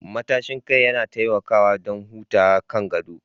Matashin kai yana taimakawa don hutawa kan gado